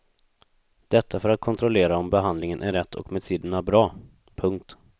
Detta för att kontrollera om behandlingen är rätt och medicinerna bra. punkt